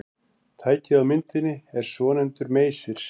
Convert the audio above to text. Tækið á myndinni er svonefndur meysir.